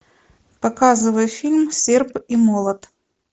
показывай фильм серп и молот